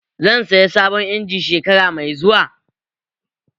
Zan saya sabon injin shekara mai zuwa